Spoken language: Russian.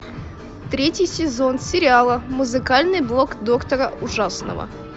третий сезон сериала музыкальный блог доктора ужасного